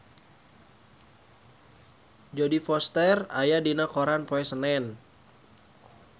Jodie Foster aya dina koran poe Senen